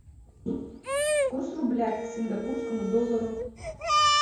курс рубля к сингапурскому доллару